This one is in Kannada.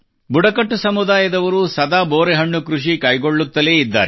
ಬುಡಕಟ್ಟು ಸಮುದಾಯದವರು ಸದಾ ಬೋರೆಹಣ್ಣು ಕೃಷಿ ಕೈಗೊಳ್ಳುತ್ತಲೇ ಇದ್ದಾರೆ